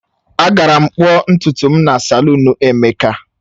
Agara m kpụọ ntutu m na salụnu Emeka.